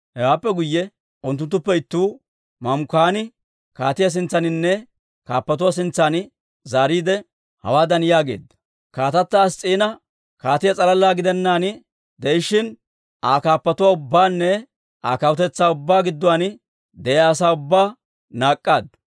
Hewaappe guyye unttunttuppe ittuu, Mamukaani kaatiyaa sintsaaninne kaappatuu sintsan zaariide, Hawaadan yaageedda; «kaatata Ass's'iina kaatiyaa s'alala gidennaan de'ishshin, Aa kaappatuwaa ubbaanne Aa kawutetsaa ubbaa gidduwaan de'iyaa asaa ubbaa naak'k'aaddu.